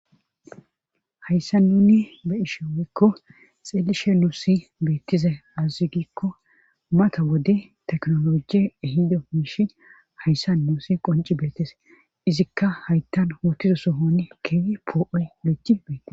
Hayssa nuni be ishe weekko xeelishe nuusi beettize azazigikko mata wode teknologi ehido miishi hayssa nuusi qonci beetes izikka haytan hootizo sohone keewi poo7oy leci beettes